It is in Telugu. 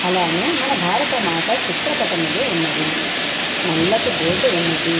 అలానే మన భారతమాత చిత్రపటములు ఉన్నవి. నల్లటి బోర్డు ఉన్నది.